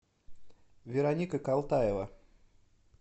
вероника калтаева